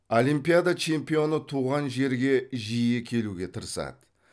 олимпиада чемпионы туған жерге жиі келуге тырысады